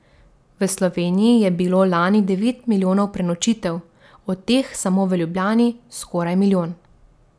V Sloveniji je bilo lani devet milijonov prenočitev, od teh samo v Ljubljani skoraj milijon.